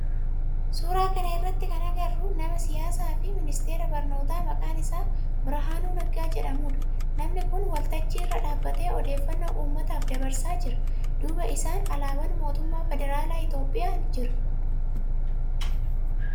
Suuraa kana irratti kana agarru nama siyaasaa fi ministeera barnootaa maqaan isaa Birahaanuu Naggaa jedhamudha. Namni kun waltajji irra dhaabbatee odeefannoo ummataaf dabarsaa jira. Duuba isaa alaabaan mootummaa federaalaa itiyoophiyaa jira.